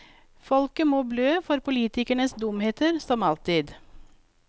Folket må blø for politikernes dumheter, som alltid.